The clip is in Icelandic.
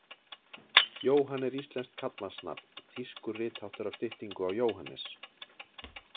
Johan er íslenskt karlmannsnafn, þýskur ritháttur af styttingu á Jóhannes.